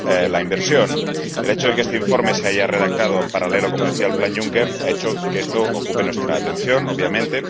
la inversión. El hecho de que este informe se haya redactado en paralelo —como decía— al Plan Juncker ha hecho que esto ocupe nuestra atención, obviamente.